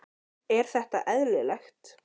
Er þetta eðlilegt???